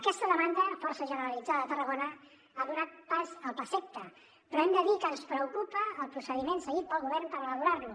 aquesta demanda força generalitzada a tarragona ha donat pas al plaseqta però hem de dir que ens preocupa el procediment seguit pel govern per elaborar lo